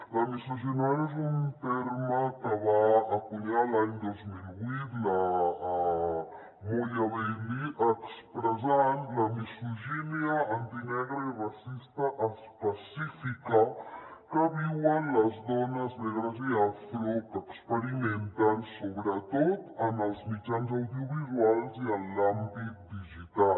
la misogynoir és un terme que va encunyar l’any dos mil vuit la moya bailey expressant la misogínia antinegra i racista específica que viuen les dones negres i afro que experimenten sobretot en els mitjans audiovisuals i en l’àmbit digital